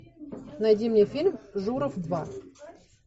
найди мне фильм журов два